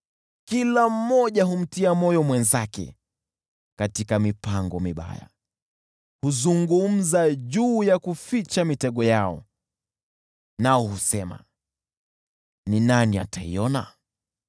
Kila mmoja humtia moyo mwenzake katika mipango mibaya; huzungumza juu ya kuficha mitego yao, nao husema, “Ni nani ataiona?”